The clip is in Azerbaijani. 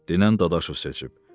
Denən Dadaşov seçib.